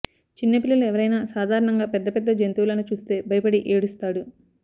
చిన్న పిల్లలు ఏవరైనా సాధారణంగా పెద్ద పెద్ద జంతువులను చూస్తే భయపడి ఏడుస్తాడు